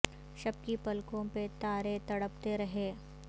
شب کی پلکو ں پہ تا ر ے تڑ پتے ر ہے